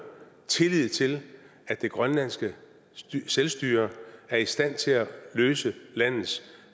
tillid til at det grønlandske selvstyre er i stand til at løse landets